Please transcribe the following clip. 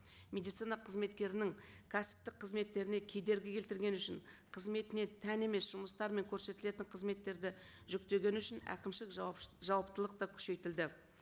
медицина қызметкерінің кәсіптік қызметтеріне кедергі келтіргені үшін қызметіне тән емес жұмыстар мен көрсетілетін қызметтерді жүктегені үшін әкімшілік жауаптылық та күшейтілді